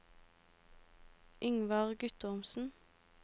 Yngvar Guttormsen